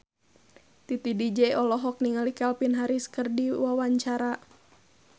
Titi DJ olohok ningali Calvin Harris keur diwawancara